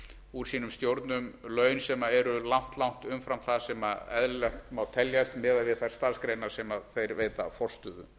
úr sínum stjórnum laun sem eru langt langt umfram það sem eðlilegt má teljast miðað við þær starfsgreinar sem þeir veita forstöðu